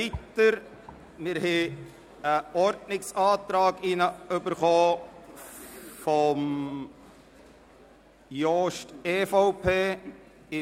Wir haben einen Ordnungsantrag von Grossrat Jost, EVP, erhalten.